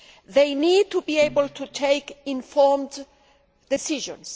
They need to be able to take informed decisions.